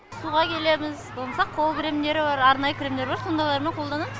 суға келеміз болмаса қол кремдері бар арнайы кремдар бар сондайлармен қолданамыз